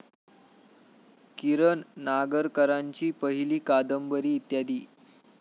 किरण नागरकरांची पहिली कादंबरी इत्यादी.